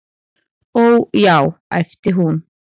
"""Ó, já, æpti hún."""